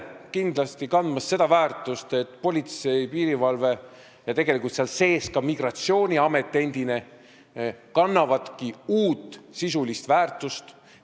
Kindlasti, politsei, piirivalve ja tegelikult seal sees ka endine migratsiooniamet kannavad uut sisulist väärtust.